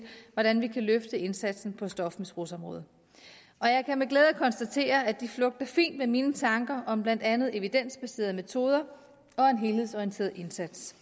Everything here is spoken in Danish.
hvordan vi kan løfte indsatsen på stofmisbrugsområdet og jeg kan med glæde konstatere at de flugter fint med mine tanker om blandt andet evidensbaserede metoder og en helhedsorienteret indsats